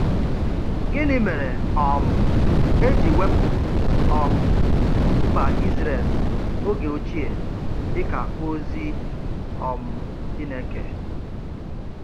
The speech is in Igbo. Gịnị mere um e ji wepụ um mba Israel oge ochie dị ka ozi um Chineke?